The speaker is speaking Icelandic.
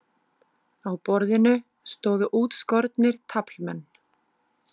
Á borðinu stóðu útskornir taflmenn.